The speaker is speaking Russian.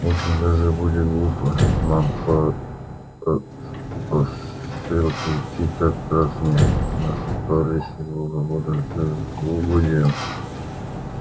очень даже будет глупо нам по стрелке идти как раз не на палестинку а в самую слепую елань угодим